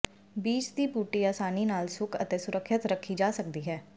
ਬੀਜ ਦੀ ਬੂਟੀ ਆਸਾਨੀ ਨਾਲ ਸੁੱਕ ਅਤੇ ਸੁਰੱਖਿਅਤ ਰੱਖੀ ਜਾ ਸਕਦੀ ਹੈ